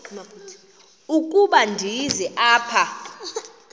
ukuba ndize apha